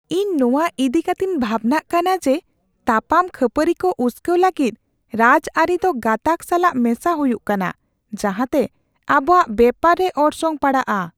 ᱤᱧ ᱱᱚᱣᱟ ᱤᱫᱤ ᱠᱟᱛᱮᱧ ᱵᱷᱟᱵᱽᱱᱟᱜ ᱠᱟᱱᱟ ᱡᱮ ᱛᱟᱯᱟᱱ ᱠᱷᱟᱹᱯᱟᱹᱨᱤ ᱠᱚ ᱩᱥᱠᱟᱹᱣ ᱞᱟᱹᱜᱤᱫ ᱨᱟᱡᱽᱟᱹᱨᱤ ᱫᱚ ᱜᱟᱛᱟᱜ ᱥᱟᱞᱟᱜ ᱢᱮᱥᱟ ᱦᱩᱭᱩᱜ ᱠᱟᱱᱟ, ᱡᱟᱦᱟᱸᱛᱮ ᱟᱵᱚᱣᱟᱜ ᱵᱮᱯᱟᱨ ᱨᱮ ᱚᱨᱥᱚᱝ ᱯᱟᱲᱟᱜᱼᱟ ᱾